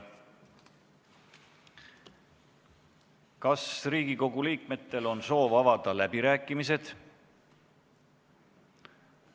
Kas Riigikogu liikmetel on soovi avada läbirääkimisi?